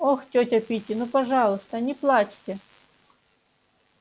ох тётя питти ну пожалуйста не плачьте